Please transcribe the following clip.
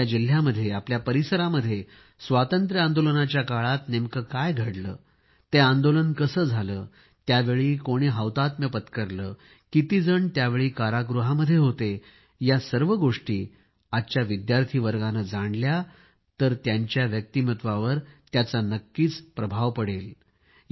आपल्या जिल्ह्यामध्ये आपल्या परिसरामध्ये स्वातंत्र्य आंदोलनाच्या काळामध्ये नेमके काय घडले ते आंदोलन कसे केले त्यावेळी कोणी हौतात्म्य पत्करले किती जण त्यावेळी कारागृहामध्ये होते या सर्व गोष्टी आजच्या विद्यार्थी वर्गाने जाणल्या तर त्यांच्या व्यक्तिमत्वावर त्याचा नक्कीच प्रभाव पडेल